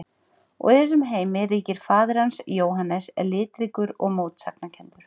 Og í þessum heimi ríkir faðir hans, Jóhannes, litríkur og mótsagnakenndur.